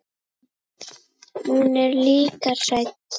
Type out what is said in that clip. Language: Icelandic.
Hún er líka hrædd.